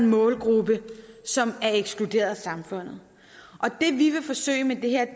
målgruppe som er ekskluderet af samfundet og det vi vil forsøge med det her er